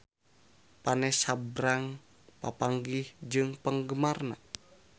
Vanessa Branch papanggih jeung penggemarna